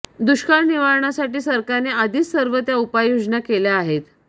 दुष्काळ निवारणासाठी सरकारने आधीच सर्व त्या उपाययोजना केल्या आहेत